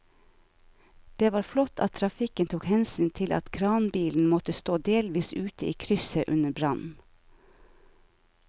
Det var flott at trafikken tok hensyn til at kranbilen måtte stå delvis ute i krysset under brannen.